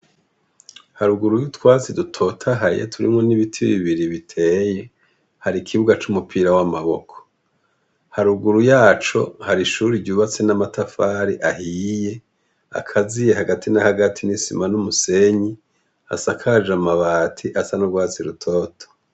Haruguru y'utwatsi dutotahaye turimwo n'ibiti birebire biteye , har' ikibuga c'umupira w'amaboko . Haruguru y'aco hari ishuri ryubatswe n'amatafari ahiye, akaziye hagati na hagati n'isima n'umusenyi, asakaje amabati asa n'urwatsi rutoto.